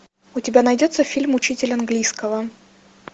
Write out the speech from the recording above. у тебя найдется фильм учитель английского